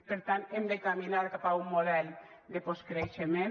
per tant hem de caminar cap a un model de postcreixement